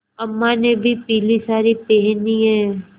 अम्मा ने भी पीली सारी पेहनी है